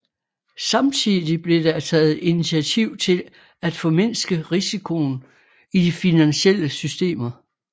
Samtidig blev der taget initiativ til at formindske risikoen i de finansielle systemer